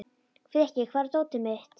Frikki, hvar er dótið mitt?